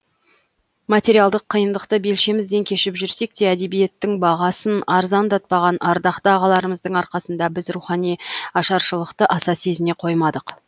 материалдық қиындықты белшемізден кешіп жүрсек те әдебиеттің бағасын арзандатпаған ардақты ағаларымыздың арқасында біз рухани ашаршылықты аса сезіне қоймадық